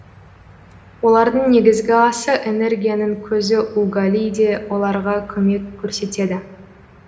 олардың негізгі асы энергияның көзі угали де оларға көмек көрсетеді